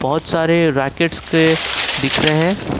बहुत सारे रैकेट्स के दिख रहे--